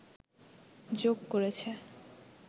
যোগ করেছে